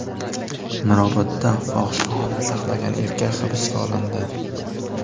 Mirobodda fohishaxona saqlagan erkak hibsga olindi.